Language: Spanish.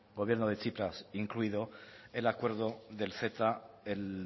gobierno de tsipras incluido el acuerdo del ceta el